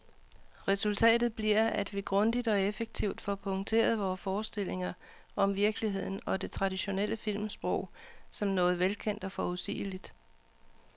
Resultatet bliver, at vi grundigt og effektivt får punkteret vore forstillinger om virkeligheden, og det traditionelle filmsprog, som noget velkendt og forudsigeligt.